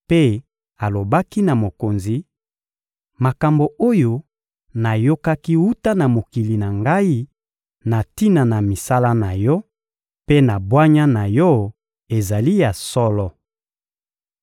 mpe alobaki na mokonzi: «Makambo oyo nayokaki wuta na mokili na ngai na tina na misala na yo mpe na bwanya na yo ezali ya solo.